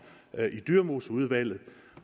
i dyremoseudvalget